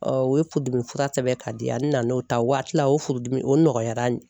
u ye furudimi fura sɛbɛn ka di yan, a nana n'o ta waati la o furudimi o nɔgɔyara